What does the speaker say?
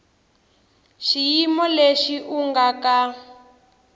xiyimo lexi u nga ka